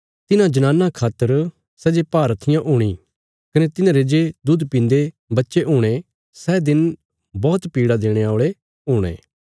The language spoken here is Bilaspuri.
तिन्हां जनानां खातर सै जे भारहत्थियां हूणी कने तिन्हारे जे दुध पीन्दे बच्चे हुणे सै दिन बौहत पीड़ा देणे औल़े हुणे